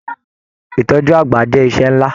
Ìtọjú àgbà jẹ iṣẹ nlá.